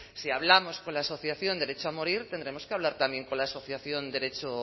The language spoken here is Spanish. si hablamos con la asociación derecho a morir tendremos que hablar también con la asociación derecho